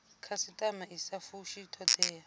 khasitama i sa fushi thodea